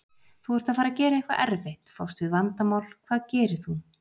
Þú ert að fara að gera eitthvað erfitt, fást við vandamál, hvað gerir þú?